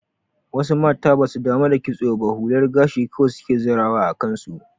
Wasu mata basu damu da kitso ba hular gashi kawai suke zirawa a kansu.